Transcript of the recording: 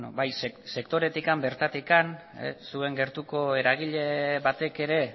bai sektoretik bertatik zuen gertuko eragile batek ere